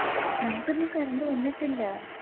ഞങ്ക്ക്ന്നും Current വന്നിട്ടില്ല